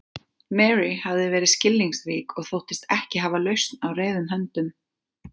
Mary hafði verið skilningsrík og þóttist ekki hafa lausn á reiðum höndum.